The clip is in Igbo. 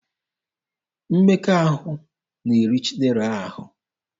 Mmekọahụ na-eri Chidera ahụ.